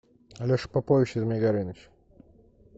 алеша попович и змей горыныч